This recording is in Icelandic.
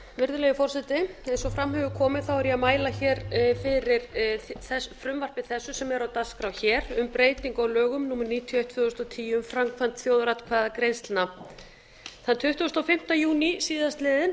virðulegi forseti eins og fram hefur komið er ég að mæla hér fyrir frumvarpi þessu sem er á dagskrá hér um breytingu á lögum númer níutíu og eitt tvö þúsund og tíu um framkvæmd þjóðaratkvæðagreiðslna þann tuttugasta og fimmta júní síðastliðinn